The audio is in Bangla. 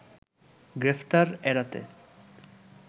গ্রেপ্তার এড়াতে